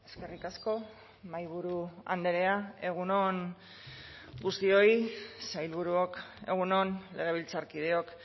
eskerrik asko mahaiburu andrea egun on guztioi sailburuok egun on legebiltzarkideok